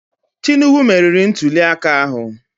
Tinubu merịrị ntulịaka ahụ